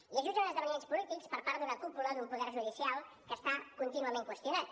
i es jutgen uns esdeveniments polítics per part d’una cúpula d’un poder judicial que està contínuament qüestionat